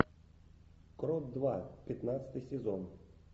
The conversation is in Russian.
крот два пятнадцатый сезон